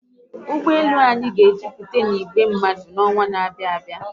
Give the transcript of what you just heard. Ụgbọelu anyị ga ejuputa na igwe mmadu n'ọnwa n'abịa